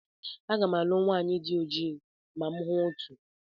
Aga m alụ nwanyị di ojii ma m hụ otu.